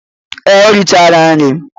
Ee, o richara nri.